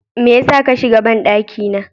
Mai yasa kashiga banɗaki na?